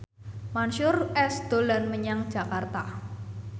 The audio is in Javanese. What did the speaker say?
Mansyur S dolan menyang Jakarta